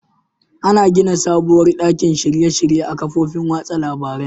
Ana gina sabuwar ɗakin shirye -shirye a kafofin watsa labarain.